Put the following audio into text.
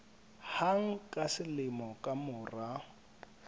hang ka selemo ka mora